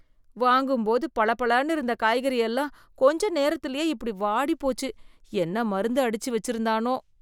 வாங்கும்போது பளபளனு இருந்த காய்கறி எல்லாம் கொஞ்ச நேரத்துலையே இப்படி வாடி போச்சு, என்ன மருந்து அடிச்சு வச்சிருந்தானோ?